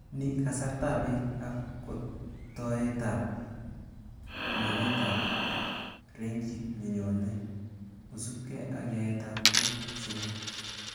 Ni kasartaab beek ak kotoeteab pimanetab rangit nenyonen kosubke ak yaetab tuku somok